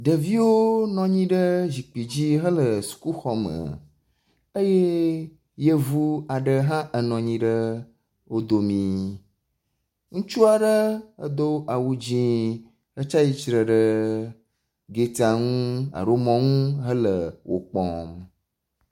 Ɖeviwo nɔ anyi ɖe zikpui dzi hele sukuxɔme eye yevɔ aɖe hã enɔ anyi ɖe wo domi. Ŋutsu aɖe edo awu dzi etsi atsitre ɖe getia nu alo mɔnu hele wo kpɔm.